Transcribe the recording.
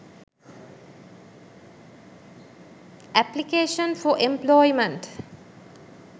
application for employment